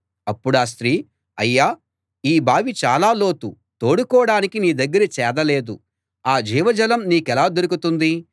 అప్పుడా స్త్రీ అయ్యా ఈ బావి చాలా లోతు తోడుకోడానికి నీ దగ్గర చేద లేదు ఆ జీవజలం నీకెలా దొరుకుతుంది